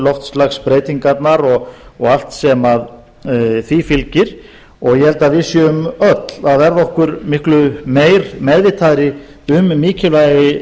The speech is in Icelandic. loftslagsbreytingarnar og allt sem því fylgir og ég held að við séum öll að verða okkur miklu meir meðvitaðri um mikilvægi